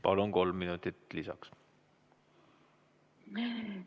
Palun, kolm minutit lisaks!